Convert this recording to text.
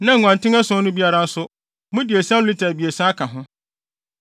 na nguanten ason no biara nso, mode esiam lita abiɛsa aka ho.